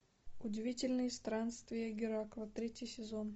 удивительные странствия геракла третий сезон